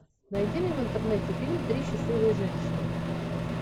найди мне в интернете фильм три счастливые женщины